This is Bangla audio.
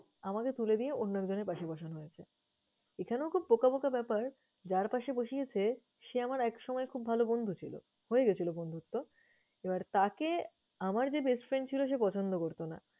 আমাকে তুলে দিয়ে অন্য একজনের পাশে বসানো হয়েছে। এখানেও খুব বোকা বোকা ব্যাপার। যার পাশে বসিয়েছে সে আমার একসময় খুব ভালো বন্ধু ছিল, হয়ে গেছিলো বন্ধুত্ত। এবার তাকে আমার যে best friend ছিল সে পছন্দ করতো না।